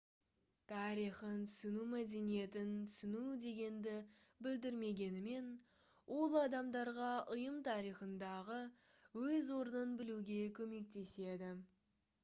тарихын түсіну мәдениетін түсіну дегенді білдірмегенімен ол адамдарға ұйым тарихындағы өз орнын білуге көмектеседі